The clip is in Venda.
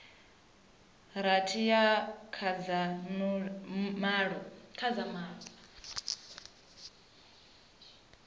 rathi uya kha dza malo